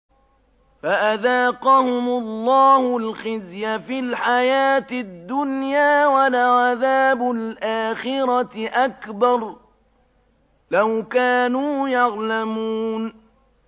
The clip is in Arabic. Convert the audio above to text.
فَأَذَاقَهُمُ اللَّهُ الْخِزْيَ فِي الْحَيَاةِ الدُّنْيَا ۖ وَلَعَذَابُ الْآخِرَةِ أَكْبَرُ ۚ لَوْ كَانُوا يَعْلَمُونَ